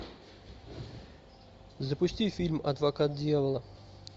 запусти фильм адвокат дьявола